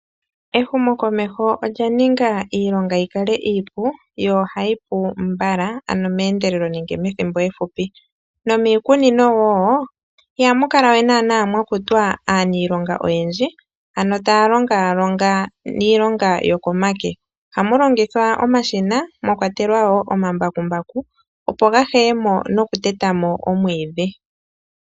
Ehumokomeho olya ninga iilonga yi kale iipu, yo ohayi pu mbala, ano meendelelo nenge methimbo efupi, nomiikunino wo ihamu kala we naanaa mwa kutwa aaniilonga oyendji, ano taa longaalonga iilonga yokomake. Ohamu longithwa omashina, mwa kwatelwa wo omambakumbaku opo ga heye mo nokuteta mo omwiidhi.